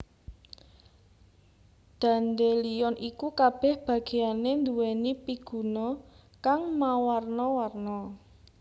Dandelion iku kabèh bagéyané nduwèni piguna kang mawarna warna